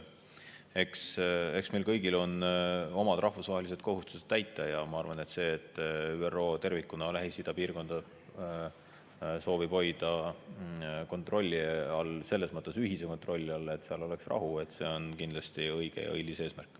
Eks meil kõigil on omad rahvusvahelised kohustused täita ja ma arvan, et see, et ÜRO tervikuna soovib hoida Lähis-Ida piirkonda kontrolli all, selles mõttes ühise kontrolli all, et seal oleks rahu, on kindlasti õige ja õilis eesmärk.